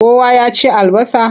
Kowa ya ci albasa?